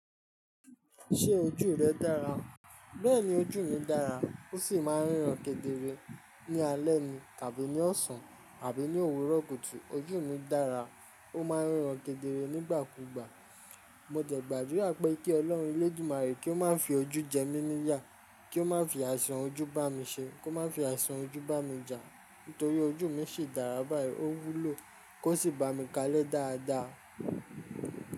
Ṣé ojú rẹ dára? Bẹ́ẹ̀ni ojú mi dára. Ó sì máa ń ríran kedere ní alẹ́ ni tàbí ní ọ̀sán àbí ní òwúrọ̀ kùtù. Ojú mi dára. Ó máa ń ríran kedere nígbà kúgbà. Mo dẹ̀ gbàdúrà pé kí Ọlọ́run Olódùmarè kí ó máa fi ojú jẹ mí níyà, kí ó máa fi àìsàn ojú bá mi ṣe, kó máa fi àìsàn ojú bá mi jà. Nítorí ojú mi sì dára báyìí, ó wúlò kó sì bá mi kalẹ́ dáadáa.